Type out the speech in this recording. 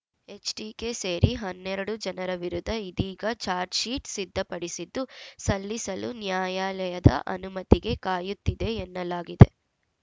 HDK ಸೇರಿ ಹನ್ನೆರಡು ಜನರ ವಿರುದ್ಧ ಇದೀಗ ಚಾಜ್‌ರ್‍ಶೀಟ್‌ ಸಿದ್ಧಪಡಿಸಿದ್ದು ಸಲ್ಲಿಸಲು ನ್ಯಾಯಾಲಯದ ಅನುಮತಿಗೆ ಕಾಯುತ್ತಿದೆ ಎನ್ನಲಾಗಿದೆ